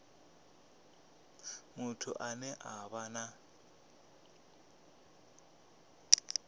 muthu ane a vha na